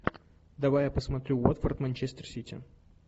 давай я посмотрю уотфорд манчестер сити